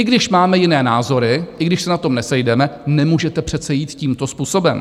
I když máme jiné názory, i když se na tom nesejdeme, nemůžete přece jít tímto způsobem!